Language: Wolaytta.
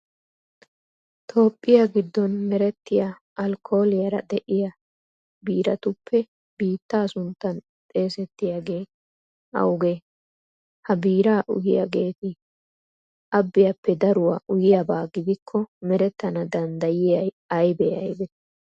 Toophphiya giddon merettiya alkkooliyara de'iya biiratuppe biittaa sunttan xeesettiyagee awugee? Ha biiraa uyiyageeti abbiyappe daruwa uyiyaba gidikko merettana danddayiya aybee aybee?